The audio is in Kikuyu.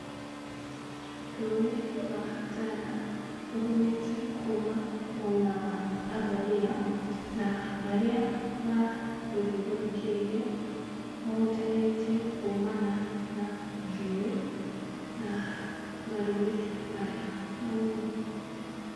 Rũĩ rwa Tana, rũhumĩte kuma mwena wa Abadare, na marĩa marũthiũrũrũkĩirie, mahutanĩtie kumana na njũĩ na marũĩ marĩa manini.